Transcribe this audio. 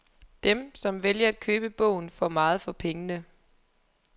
Dem, som vælger at købe bogen, får meget for pengene.